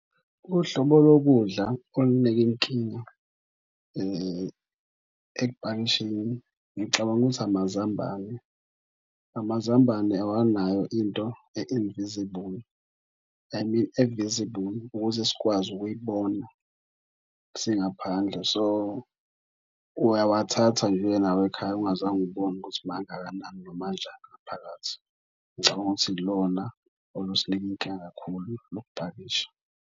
Uhlobo lokudla olunika inkinga ekupakisheni ngicabanga ukuthi amazambane. Amazambane awanayo into e-invisible, I mean e-visible ukuze sikwazi ukuyibona singaphandle. So, uyawathatha nje uye nawo ekhaya ungazange ubone ukuthi mangakanani noma anjani ngaphakathi. Ngicabanga ukuthi ilona olusinika inkinga kakhulu ngokupakisha.